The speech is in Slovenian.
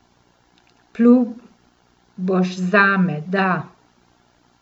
Plul boš zame, da?